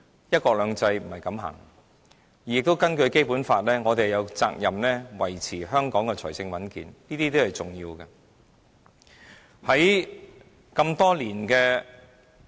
"一國兩制"不是這樣走的，而且根據《基本法》，我們有責任維持香港的財政穩健，這些均是重要的。